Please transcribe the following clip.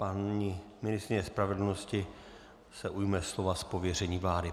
Paní ministryně spravedlnosti se ujme slova z pověření vlády.